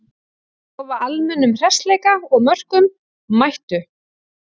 Lofa almennum hressleika og mörkum, mættu!